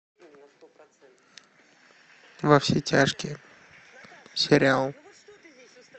во все тяжкие сериал